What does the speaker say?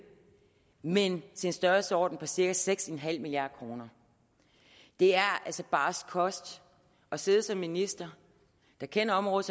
men til en størrelsesorden på cirka seks milliard kroner det er altså barsk kost at sidde som minister der kender området